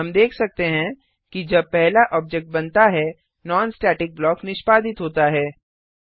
हम देख सकते हैं कि जब पहला ऑब्जेक्ट बनता है नॉन स्टेटिक ब्लॉक निष्पादित होता है